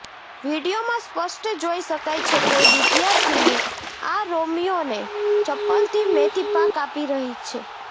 વીડિયોમાં સ્પષ્ટ જોઇ શકાય છે કે વિદ્યાર્થિની આ રોમિયોને ચપ્પલથી મેથીપાક આપી રહી છે